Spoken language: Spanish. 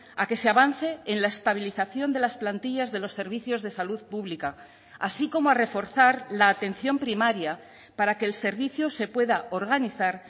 a que se avance en la estabilización de las plantillas de los servicios de salud pública así como a reforzar la atención primaria para que el servicio se pueda organizar